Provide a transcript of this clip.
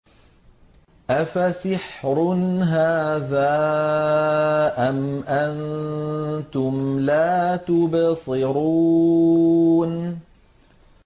أَفَسِحْرٌ هَٰذَا أَمْ أَنتُمْ لَا تُبْصِرُونَ